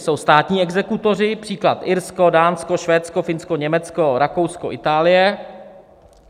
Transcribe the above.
Jsou státní exekutoři, příklad: Irsko, Dánsko, Švédsko, Finsko, Německo, Rakousko, Itálie.